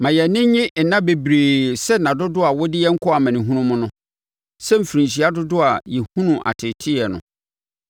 Ma yɛn ani nnye nna bebree sɛ nna dodoɔ a wode yɛn kɔɔ amanehunu mu no, sɛ mfirinhyia dodoɔ a yɛhunuu ateeteeɛ no.